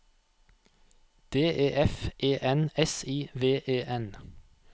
D E F E N S I V E N